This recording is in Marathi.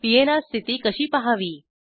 पीएनआर स्थिती कशी पहावी